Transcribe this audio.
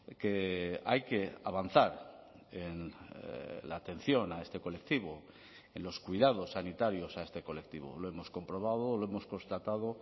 que hay que avanzar en la atención a este colectivo en los cuidados sanitarios a este colectivo lo hemos comprobado lo hemos constatado